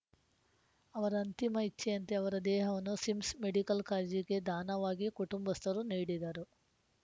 ಅವರ ಅಂತಿಮ ಇಚ್ಛೆಯಂತೆ ಅವರ ದೇಹವನ್ನು ಸಿಮ್ಸ್‌ ಮೆಡಿಕಲ್‌ ಕಾಲೇಜಿಗೆ ದಾನವಾಗಿ ಕುಟುಂಬಸ್ಥರು ನೀಡಿದರು